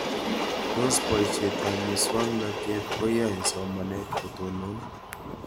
Tos poishet ab muswognatet koyae somanet kotonon